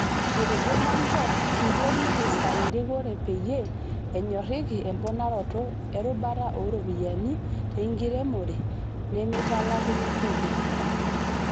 Etejo Manjo, "Kiyieu nikisai erikore peyie enyorike emponaroto e rubata ooropiyiani enkiremore nemitalakuni kodii".